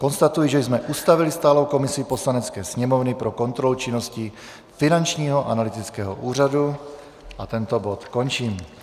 Konstatuji, že jsme ustavili stálou komisi Poslanecké sněmovny pro kontrolu činnosti Finančního analytického úřadu, a tento bod končím.